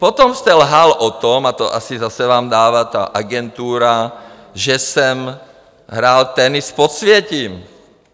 Potom jste lhal o tom, a to asi zase vám dává ta agentura, že jsem hrál tenis s podsvětím.